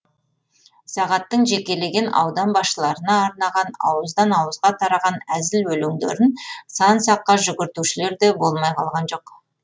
сағаттың жекелеген аудан басшыларына арнаған ауыздан ауызға тараған әзіл өлеңдерін сан саққа жүгіртушілер де болмай қалған жоқ